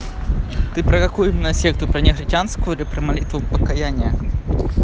ты про какую именно секту про негритянскую или про молитву покаяния